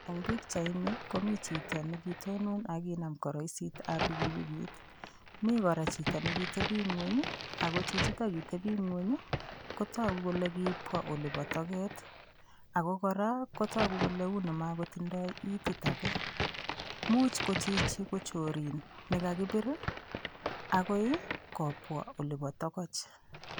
Eng' pikchaini komito chito nekitonon akokinam koroisitab pikipikit mi kora chito nekiteping'weny ako chichito kateping'wen kotoku kole kiipwa oli bo toket ako kora kotoku kole uu ni makotindoi itit age muuch ko chichi ko chorin nekakipir akoi kopwa oli bo tokoch